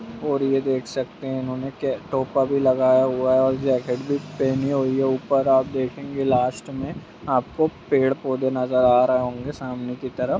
और ये देख सकते है इन्होंने कै-टोपा भी लगाया हुआ है और जैकेट भी पहनी हुई है ऊपर आप देखेंगे लास्ट में आपको पेड़-पौधे नजर आ रहे होंगे सामने की तरफ।